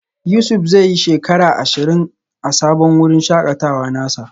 Yusuf zai yi shekara ashirin a sabon wurin shakatawa nasa.